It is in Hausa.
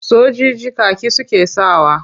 Sojiji kaki suke sakawa.